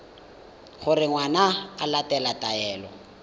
gore ngwana o latela taelo